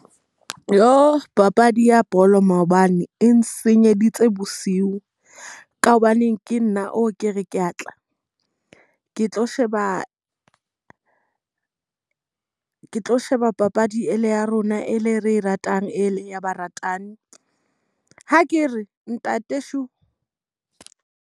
Papadi ya bolo maobane, e nsenyeleditse bosiu. Ka hobaneng ke nna oo ke re ke a tla ke tlo sheba ke tlo sheba papadi e le ya rona e le re e ratang e le ya baratani. Ha ke re ntate .